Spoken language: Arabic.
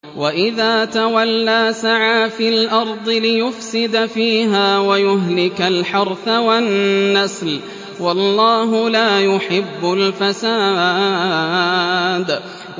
وَإِذَا تَوَلَّىٰ سَعَىٰ فِي الْأَرْضِ لِيُفْسِدَ فِيهَا وَيُهْلِكَ الْحَرْثَ وَالنَّسْلَ ۗ وَاللَّهُ لَا يُحِبُّ الْفَسَادَ